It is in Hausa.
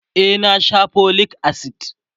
e na Sha folic acid